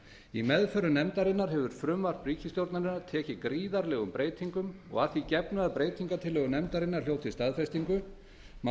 í meðförum nefndarinnar hefur frumvarp ríkisstjórnarinnar tekið gríðarlegum breytingum og að því gefnu að breytingartillögur nefndarinnar hljóti staðfestingu má